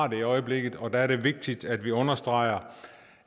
i øjeblikket og der er det vigtigt at vi understreger